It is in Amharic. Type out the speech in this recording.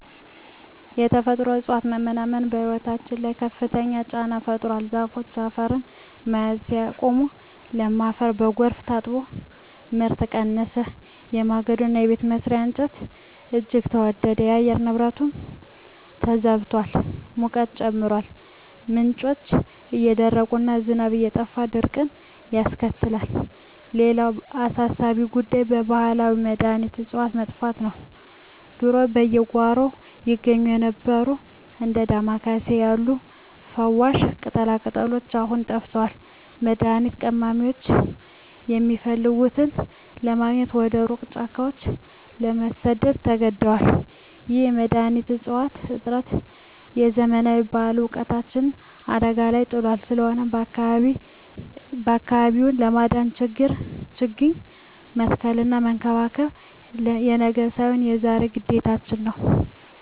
የተፈጥሮ እፅዋት መመናመን በሕይወታችን ላይ ከፍተኛ ጫና ፈጥሯል። ዛፎች አፈርን መያዝ ሲያቆሙ፣ ለም አፈር በጎርፍ ታጥቦ ምርት ቀነሰ፤ የማገዶና የቤት መስሪያ እንጨትም እጅግ ተወደደ። የአየር ንብረቱም ተዛብቷል፤ ሙቀቱ ሲጨምር፣ ምንጮች እየደረቁና ዝናብ እየጠፋ ድርቅን ያስከትላል። ሌላው አሳሳቢ ጉዳይ የባህላዊ መድኃኒት እፅዋት መጥፋት ነው። ድሮ በየጓሮው ይገኙ የነበሩት እንደ ዳማ ኬሴ ያሉ ፈዋሽ ቅጠላቅጠሎች አሁን ጠፍተዋል፤ መድኃኒት ቀማሚዎችም የሚፈልጉትን ለማግኘት ወደ ሩቅ ጫካዎች ለመሰደድ ተገደዋል። ይህ የመድኃኒት እፅዋት እጥረት የዘመናት ባህላዊ እውቀታችንን አደጋ ላይ ጥሎታል። ስለሆነም አካባቢውን ለማዳን ችግኝ መትከልና መንከባከብ የነገ ሳይሆን የዛሬ ግዴታችን ነው።